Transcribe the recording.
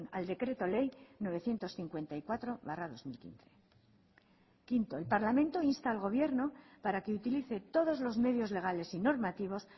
al decreto ley novecientos cincuenta y cuatro barra dos mil quince quinto el parlamento insta al gobierno para que utilice todos los medios legales y normativos